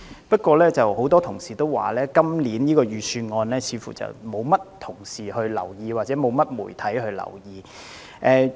不過，很多同事說今年的財政預算案似乎得不到議員或媒體的留意。